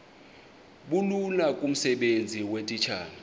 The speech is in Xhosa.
bulula kumsebenzi weetitshala